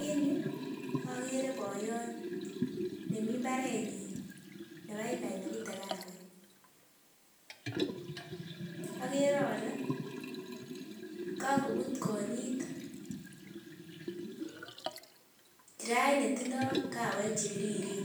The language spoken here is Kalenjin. En yuu okere boyot nemii imbarenyin nebaibai nebute kawek, akere olee kokobut konyit kirait netindo kawek chebiriren